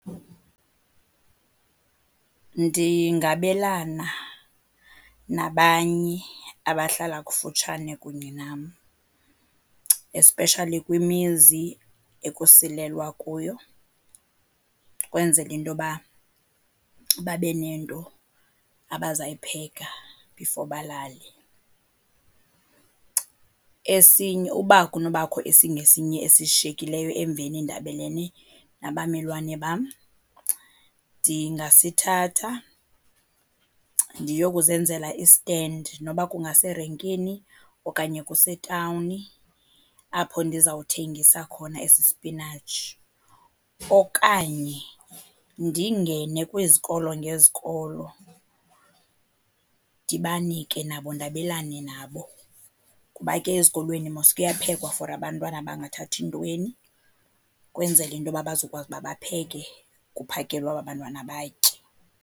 Ndingabelana nabanye abahlala kufutshane kunye nam, especially kwimizi ekusilelwa kuyo ukwenzela into yoba babe nento abazayipheka before balale. Esinye, uba kunobakho esingesinye esishiyekileyo emveni ndabelene nabamelwane bam ndingasithatha ndiyokuzenzela istendi noba kungaserenkini okanye kusetawuni apho ndizawuthengisa khona esi sipinatshi. Okanye ndingene kwizikolo ngezikolo ndibanike nabo, ndabelane nabo kuba ke ezikolweni mos kuyaphekwa for abantwana abangathathi ntweni. Ukwenzela into yoba bazokwazi uba bapheke kuphakelwe aba bantwana batye.